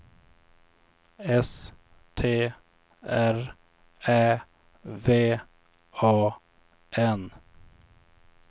S T R Ä V A N